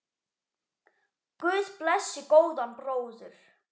Guð blessi góðan bróður!